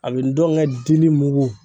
A bɛ n dɔn n kɛ dili mugu.